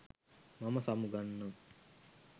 මම සමුගන්නම්